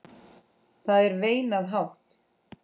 Það er veinað hátt.